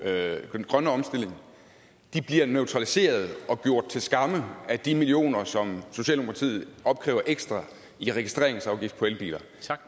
den grønne omstilling bliver neutraliseret og gjort til skamme af de millioner som socialdemokratiet opkræver ekstra i registreringsafgift på elbiler